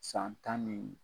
San tan ni